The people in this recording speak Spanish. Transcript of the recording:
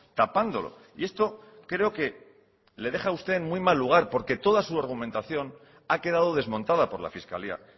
tapándolo y esto creo que le deja a usted en muy mal lugar porque toda su argumentación ha quedado desmontada por la fiscalía